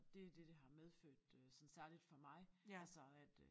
Det er det det har medfødt øh sådan særligt for mig altså at